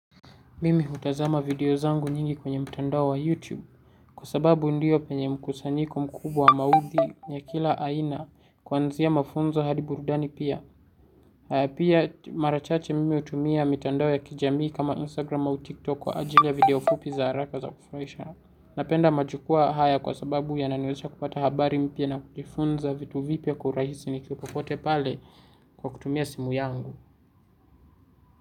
Mimi hutazama video zangu nyingi kwenye mtandao wa YouTube kwa sababu ndiyo penye mkusanyiko mkubwa wa maudhi ya kila aina kuanzia mafunzo hadi burudani pia. Pia mara chache mimi hutumia mitandao ya kijamii kama Instagram au TikTok kwa ajili ya video fupi za haraka za kufuraisha. Napenda majukwaa haya kwa sababu yananiwezesha kupata habari mpya na kujifunza vitu vipya kwa urahisi nikiwa popote pale kwa kutumia simu yangu.